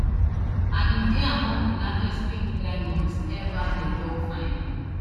and e dey among di largest pink diamonds ever dem don find